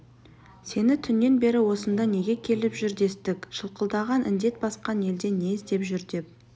сені түннен бері осында неге келіп жүр дестік шылқылдаған індет басқан елде не іздеп жүр деп